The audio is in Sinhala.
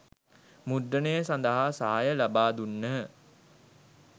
මුද්‍රණය සඳහා සහාය ලබා දුන්හ.